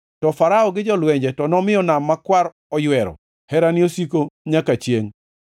to Farao gi jolwenje to nomiyo Nam Makwar oywero; Herane osiko nyaka chiengʼ.